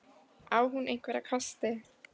Á hún einhverja kosti?